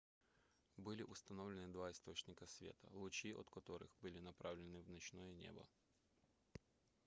были установлены два источника света лучи от которых были направлены в ночное небо